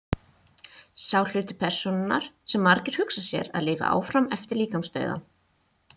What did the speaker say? sá hluti persónunnar sem margir hugsa sér að lifi áfram eftir líkamsdauðann